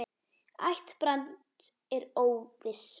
Ætt Brands er óviss.